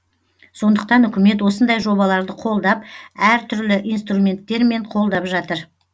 сондықтан үкімет осындай жобаларды қолдап әр түрлі инструменттермен қолдап жатыр